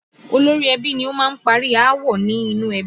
Olórí ẹbí ni ó máa ń parí aáwọ̀ ní inú ẹbí